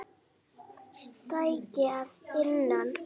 Stækki að innan.